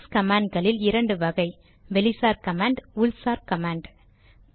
Linux command களில் இரண்டு வகை வெளிசார் கமாண்ட் உள்சார் கமாண்ட்